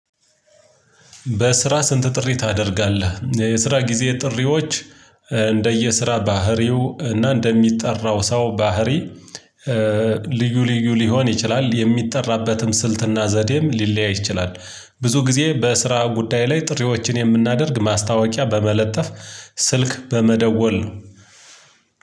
በስራ ስንት ጥሪ ታደርጋለህ? የስራ ጊዜ ጥሪዎች እንደየስራ ባህሪው እና እንደሚጠራው ሰው ባህሪ። ልዩ ልዩ ሊሆን ይችላል የሚጠራበትም ስልትና ዘዴም ሊለያይ ይችላል። ብዙ ጊዜ በስራ ጉዳይ ላይ ጥሪዎችን የምናደርግ ማስታወቂያ በመለጠፍ ስልክ በመደወል ነው።